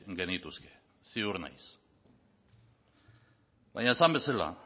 genituzke ziur naiz baina esan bezala